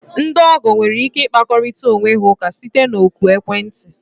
Ndị ọgọ nwere ike ịkpakorịta onwe ha ụka site na oku ekwentị.